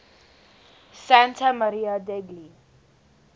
santa maria degli